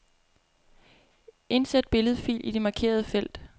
Indsæt billedfil i det markerede felt.